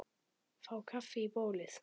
Síðan gekk hann burtu.